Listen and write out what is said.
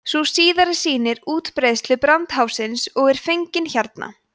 sú síðari sýnir útbreiðslu brandháfsins og er fengin hérna